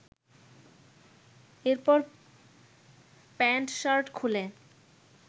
এরপর প্যান্ট-শার্ট খুলে